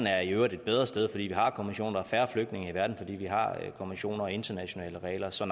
er i øvrigt et bedre sted fordi vi har konventioner og færre flygtninge i verden fordi vi har konventioner og internationale regler så